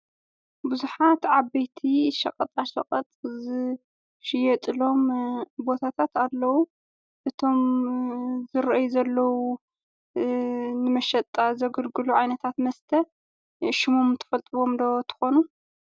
ቡዙሓት ዓበይቲ ሸቐጣሸቐጥ ዝሽየጥሎም ቦታታት ኣለዉ። እቶም ዝርኣዩ ዘለዉ ንመሸጣ ዘገልግሉ ዓይነታት መስተ ሽሞም ትፈልጥዎም ዶ ትኾኑ?